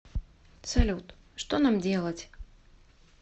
салют что нам делать